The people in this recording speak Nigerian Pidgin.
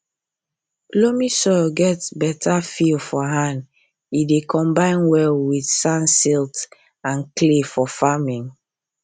loamy soil get better feel for hand e dey combine well with sand silt and clay for farming